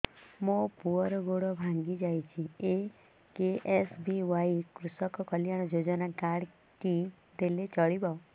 ମୋ ପୁଅର ଗୋଡ଼ ଭାଙ୍ଗି ଯାଇଛି ଏ କେ.ଏସ୍.ବି.ୱାଇ କୃଷକ କଲ୍ୟାଣ ଯୋଜନା କାର୍ଡ ଟି ଦେଲେ ଚଳିବ